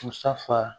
Kusafa